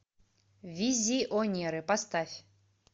визионеры поставь